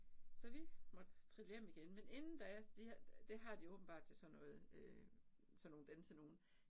Så vi måtte trille hjem igen men inden da det det har de åbenbart til sådan noget øh sådan nogle dansenogen